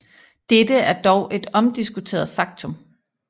Dette er dog et omdiskuteret faktum